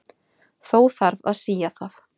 Þó þarf að sía það.